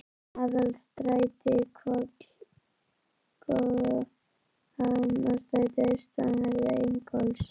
Aðalstræti, Hvoll og Gullfoss í Hafnarstræti austanverðu, Ingólfs